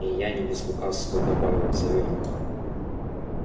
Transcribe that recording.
и я не без лукавства добавил он заверил их